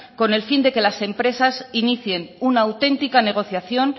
con el fin de que las empresas inicien una auténtica negociación